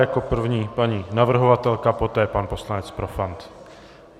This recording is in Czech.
Jako první paní navrhovatelka, poté pan poslanec Profant.